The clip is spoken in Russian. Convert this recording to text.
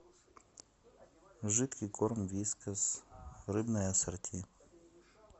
жидкий корм вискас рыбное ассорти